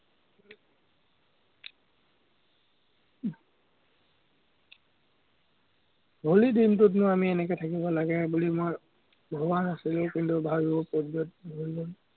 হলিৰ দিনটোতনো আমি এনেকে থাকিব লাগেনে বুলি মই ভৱা নাছিলো, কিন্তু, ভাৱিবৰ প্ৰয়োজন হৈ গল।